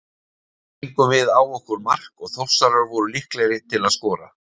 Svo fengum við á okkur mark og Þórsarar voru líklegri til að skora.